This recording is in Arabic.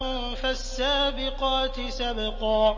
فَالسَّابِقَاتِ سَبْقًا